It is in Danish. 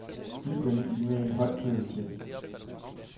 Giv denne e-mail høj prioritet.